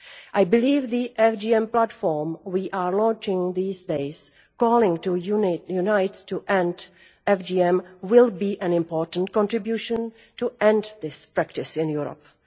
I believe the FGM platform we are launching these days, calling to unite to end FGM will be an important contribution to end this practice in Europe.